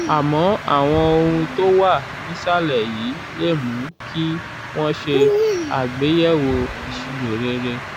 àmọ́ àwọn ohun tó wà nísàlẹ̀ yìí lè mú kí wọ́n ṣe àgbéyẹ̀wò ìṣirò rere: